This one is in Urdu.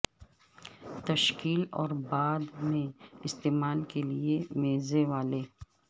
تشکیل اور بعد میں استعمال کے لئے میزیں والے